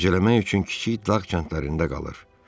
Gecələmək üçün kiçik dağ kəndlərində qalır.